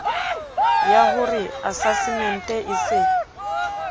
yah ore asasemente e se